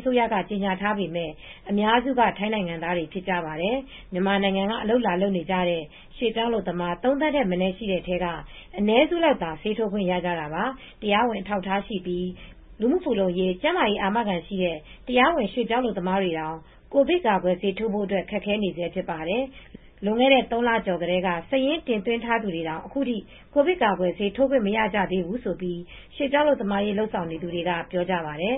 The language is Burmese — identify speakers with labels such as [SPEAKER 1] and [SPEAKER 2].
[SPEAKER 1] အစိုးရက ကြေညာထားပေမဲ့ အများစုက ထိုင်းနိုင်ငံသားတွေဖြစ်ပါတယ်။ မြန်မာနိုင်ငံကနေ အလုပ်လာလုပ်နေကြတဲ့ ရွှေ့ပြောင်းအလုပ်သမား ၃ သန်းထက်မနည်း ရှိတဲ့ထဲက အနည်းစုလောက်သာ ဆေးထိုးခွင့်ရပါသေးတယ်။တရားဝင်အထောက်အထားရှိပြီး လူမှုဖူလုံရေး၊ ကျန်းမာရေးအာမခံရှိတဲ့ တရားဝင် ရွှေ့ပြောင်းအလုပ်သမားတွေတောင် ကာကွယ်ဆေးထိုးခွင့်ရဖို့ ခက်ခဲနေဆဲဖြစ်ပါတယ်။ လွန်ခဲ့တဲ့ ၃ လကျော်ကတည်းက စာရင်းတင်သွင်းထားသူတွေတောင် အခုထိ ကိုဗစ်ကာကွယ်ဆေး ထိုးခွင့်မရကြသေးဘူးလို့ ရွှေ့ပြောင်းအလုပ်သမားရေး လုပ်ဆောင်နေသူတွေက ပြောပါတယ်